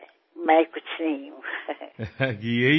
আমি নিজে কিছু নই